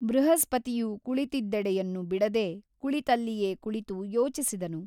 ಬೃಹಸ್ಪತಿಯು ಕುಳಿತಿದ್ದೆಡೆಯನ್ನು ಬಿಡದೆ ಕುಳಿತಲ್ಲಿಯೇ ಕುಳಿತು ಯೋಚಿಸಿದನು.